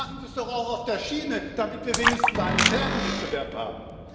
Dann machen Sie es doch auch auf der Schiene, damit wir wenigstens einen fairen Wettbewerb haben!